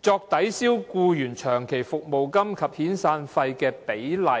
作抵銷僱員長期服務金及遣散費的比例"。